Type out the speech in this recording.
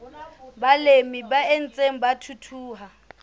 balemi ba ntseng ba thuthuha